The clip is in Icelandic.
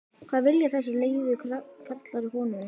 hvað vilja þessir leiðu karlar konunni?